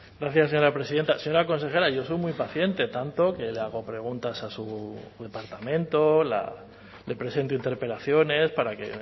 gracias señora presidenta señora consejera yo soy muy paciente tanto que le hago preguntas a su departamento le presento interpelaciones para que